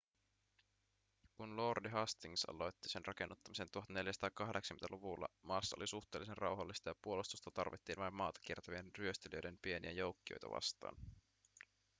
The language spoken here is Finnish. kun lordi hastings aloitti sen rakennuttamisen 1480-luvulla maassa oli suhteellisen rauhallista ja puolustusta tarvittiin vain maata kiertävien ryöstelijöiden pieniä joukkioita vastaan